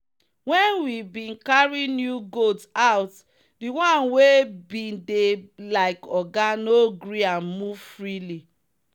when we bin carry new goat put the one wey bin dey like oga no gree am move freely.